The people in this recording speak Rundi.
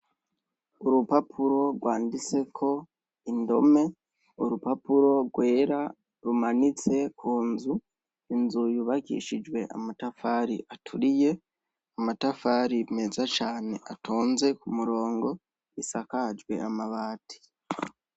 Urupapuro rwanditse ko indome urupapuro rwera rumanitse ku nzu inzuyubakishijwe amatafari aturiye amatafari meza cane atonze ku murongo isakajwe amabati.